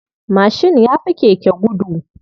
Mashin yafi keke gudu.